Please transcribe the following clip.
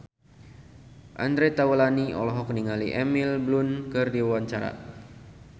Andre Taulany olohok ningali Emily Blunt keur diwawancara